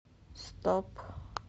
стоп